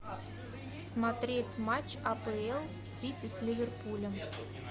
смотреть матч апл сити с ливерпулем